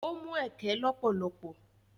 Ó mu ẹkẹ lọ́pọ̀lọpọ̀.